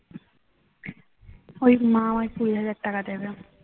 ওই মা আমায় কুড়ি হাজার টাকা দেবে